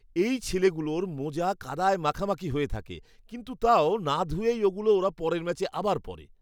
এই ছেলেগুলোর মোজা কাদায় মাখামাখি হয়ে থাকে, কিন্তু তাও না ধুয়েই ওগুলো ওরা পরের ম্যাচে আবার পরে।